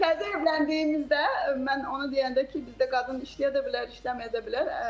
Təzə evləndiyimizdə mən onu deyəndə ki, bizdə qadın işləyə də bilər, işləməyə də bilər.